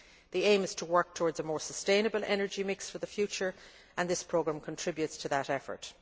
The aim is to work towards a more sustainable energy mix for the future, and this programme contributes to that effort.